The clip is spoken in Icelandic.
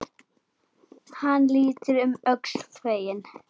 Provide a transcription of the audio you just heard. Hann lítur um öxl, feginn.